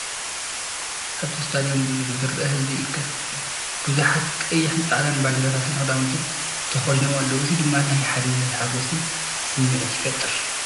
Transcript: ኣብቲ ስታድዩም ብዙሕ ዝርአ ህዝቢ ይእከብ። ብዙሓት ቀይሕን ጻዕዳን ባንዴራታትን ክዳውንትን ተኸዲኖም ኣለዉ። እዚ ድማ ናይ ሓድነትን ሓጎስን ስምዒት ይፈጥር።